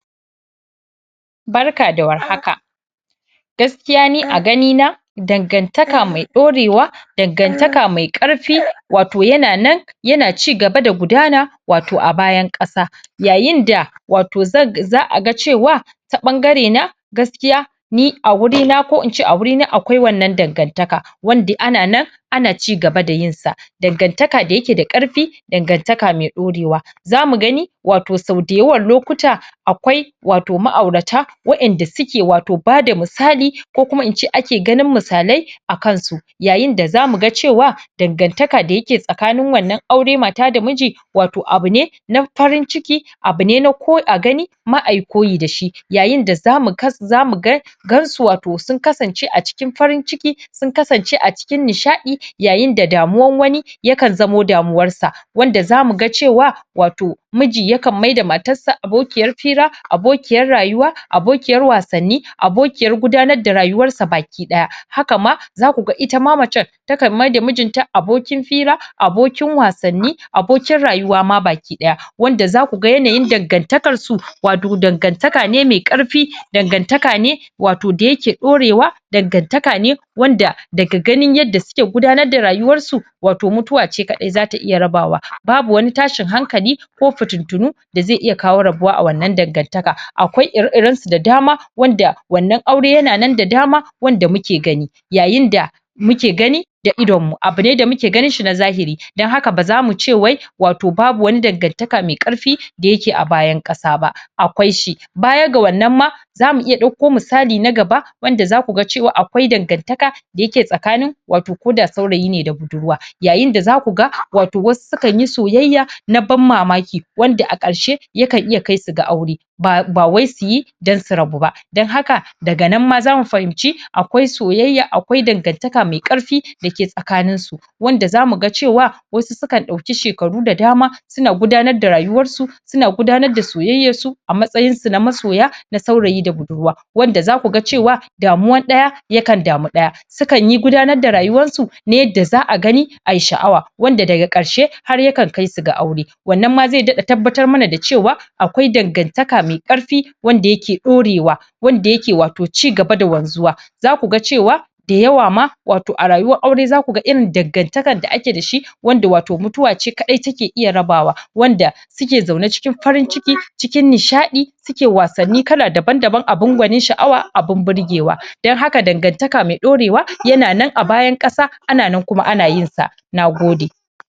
Barka da warhaka, gaskiya ni a ganina dangantaka mai ɗaurewa, dangantaka mai ƙarfi, yana nan yana cigaba da gudana a bayan ƙasa yayin da za a ga cewa ta ɓangarena gaskiya a wurina akwai wannan dangantaka wanda ana nan ana cigaba da yinsa. Dangantaka da yake da ƙarfi dangantaka mai ɗaurewa. Za mu gani sau dayawan lokuta akwai ma'aurata wanda suke bada misali ko kuma in ce ake ganin misalai a kansu yayin da za mu ga cewa dangantaka da yake tsakanin wannan auren mata da miji abu ne na farin ciki, abu ne na a gani kuma ayi koyi da shi. Za mu gani sau dayawan lokuta akwai ma'aurata wanda suke bada misali ko kuma in ce ake ganin misalai a kansu yayin da za mu ga cewa dangantaka da yake tsakanin wannan auren mata da miji abu ne na farin ciki, abu ne na a gani kuma ayi koyi da shi. Yayin da za mu gansu sun kasance a cikin farin ciki sun kasance a cikin nishaɗi yayin da damuwan wani yake zama damuwarsa. Wanda za mu ga cewa miji yakan maida matarsa abokiyar fira, abokiyar rayuwa, abokiyar wasanni, abokiyar gudanar da rayuwarsa bakidaya. Hakan ma zaku ga ita ma macen takan maida mijinta abokin fira, abokin wasanni, abokin rayuwa ma baki daya, Wanda za ku ga yanayin dangantakarsu dangantaka ne mai ƙarfi, dangantaka ne da yake ɗaurewa, dangantaka ne wanda daga ganin yanda suke gudanar da rayuwarsu wato mutuwace kaɗai za ta iya raba wa. Babu wani tashin hankali ko fitintinu da zai iya kawo rabuwa a wannan dangantaka. Akwai ire-iren su da dama wanda wannan aure yana nan da dama wanda muke gani yayin da muke gani da da idonmu, abu ne da muke ganinshi na zahiri. Don haka, a za mu ce wai wato babu wani dangantaka mai ƙarfi da yake a bayan ƙasa ba, akwai shi. Baya ga wannan ma za mu iya ɗauko misali na gaba wanda za ku ga cewa akwai dangantaka da yake tsakanin saurayi da budurwa. Yayin da za ku ga wato wasu sukan yi soyayya na ban mamaki wanda a ƙarshe kan iya kaisu ga aure ba wai su yi don su rabu ba. Don haka daga nan ma za mu fahimci akwai soyayya akwai dangantaka mai ƙarfi da ke tsakaninsu wanda zamu ga cewa wasu sukan ɗauki shekaru da dama suna gudanar da rayuwarsu daban-daban abin sha'awa, abin burgewa. Su kan yi gudanar da rayuwarsu na yadda za a gani a yi sha'awa, wanda daga ƙarshe har yakan kaisu ga aure. Wannan ma zai daɗa tabbatar mana da cewa akwai dangantaka mai ƙarfi wanda yake ɗaurewa, wanda yake cigaba da wanzuwa. Za ku ga cewa dayawa ma a rayuwar auren irin dangantakar da ake da shi wanda mutuwa ce kaɗai take iya rabawa wanda suke zaune cikin farin ciki, cikin nishaɗi, suke wasanni kala daban-daban abin gwanin sha'awa abin burgewa. Don haka, dangantaka mai ɗaurewa yana nan a bayan ƙasa ana nan kuma ana yinsa. Na gode